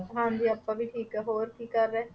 ਹਾਂਜੀ ਆਪਾਂ ਵੀ ਠੀਕ ਹਾਂ, ਹੋਰ ਕੀ ਰਹੇ,